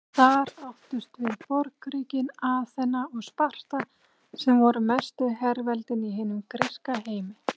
Þar áttust við borgríkin Aþena og Sparta sem voru mestu herveldin í hinum gríska heimi.